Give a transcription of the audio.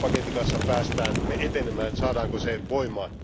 kanssa päästään etenemään ja saadaanko se voimaan.